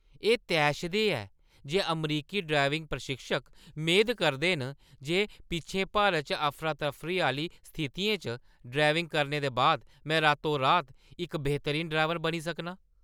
एह् तैशदेह् ऐ जे अमरीकी ड्राइविंग प्रशिक्षक मेद करदे न जे पिच्छें भारत च अफरा-तफरी आह्‌ली स्थितियें च ड्राइविंग करने दे बाद में रातो-रात इक बेहतरीन ड्राइवर बनी सकनां।